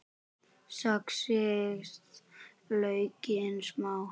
Saxið laukinn smátt.